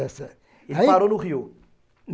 Ele parou no rio.